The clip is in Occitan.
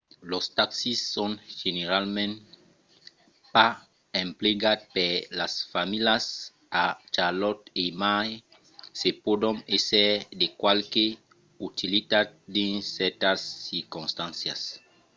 los taxis son generalament pas emplegats per las familhas a charlotte e mai se pòdon èsser de qualque utilitat dins cèrtas circonstàncias